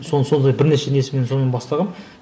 сол сондай бірнеше несімен соны бастағанмын